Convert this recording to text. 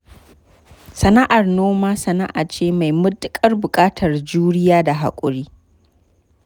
Sana'ar noma sana'a ce mai matuƙar buƙatar juriya da haƙuri.